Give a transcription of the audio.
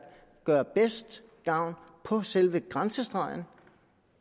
gør bedst gavn på selve grænsestregen